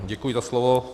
Děkuji za slovo.